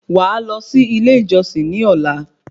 Wàá lọ sí ilé ìjọsìn ní ọ̀la